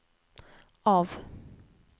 av